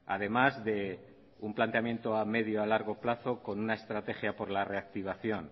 además de un planteamiento a medio largo plazo con una estrategia por la reactivación